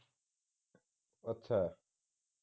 ਅੱਛਾ